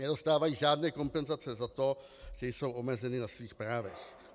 Nedostávají žádné kompenzace za to, že jsou omezeny na svých právech.